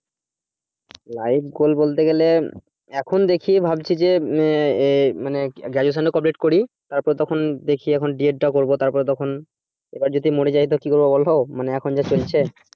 life gold বলতে গেলে এখন দেখি ভাবছি যে মানে graduation টা complete করি তারপরে তখন দেখি এখন ded টা করব তারপরে তখন এবার যদি মরে যাই তো কি করবো বলো মানে এখন যা চলছে